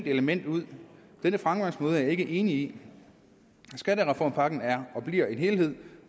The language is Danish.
element ud denne fremgangsmåde er jeg ikke enig i skattereformpakken er og bliver en helhed